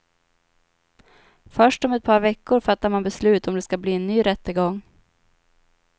Först om ett par veckor fattar man beslut om det ska bli en ny rättegång.